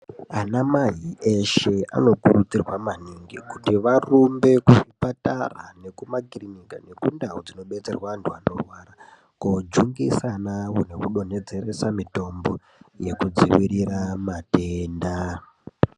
Anamai eshe anokurudzirwa maningi kuti varumbe kuzvipatara nekumakiriniki nekundau dzinodetserwa antu anorwara, kojungisa anawo nekudonhedzeresa mitombo yekudzivirira matenda.